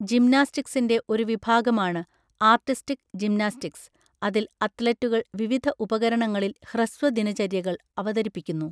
ജിംനാസ്റ്റിക്സിൻ്റെ ഒരു വിഭാഗമാണ് artistic gymnastics, അതിൽ അത്ലറ്റുകൾ വിവിധ ഉപകരണങ്ങളിൽ ഹ്രസ്വ ദിനചര്യകൾ അവതരിപ്പിക്കുന്നു.